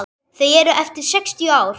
Þau eru eftir sextíu ár.